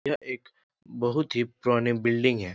यह एक बहुत ही पुराने बिल्डिंग है।